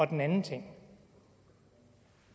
den anden ting